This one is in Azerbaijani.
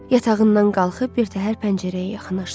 Yatağından qalxıb birtəhər pəncərəyə yaxınlaşdı.